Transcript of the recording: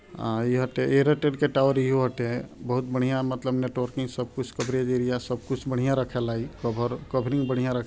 यहाँ ते एयरटेल के टावर ही होते है बहोत बढ़िया मतलब नेटवर्क सब कुछ कवरेज एरिया बिया --